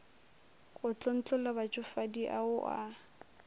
go tlontlolla batšofadi ao a